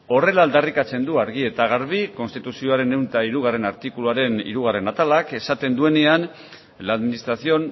horrela aldarrikatzen du argi eta garbi konstituzioaren ehun eta hirugarrena artikuluaren hirugarren atalak esaten duenean la administración